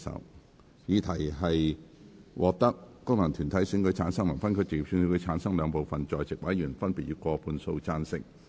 我認為議題獲得經由功能團體選舉產生及分區直接選舉產生的兩部分在席委員，分別以過半數贊成。